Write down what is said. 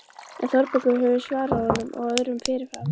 En Þórbergur hefur svarað honum og öðrum fyrirfram